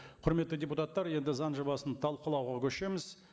құрметті депутаттар енді заң жобасын талқылауға көшеміз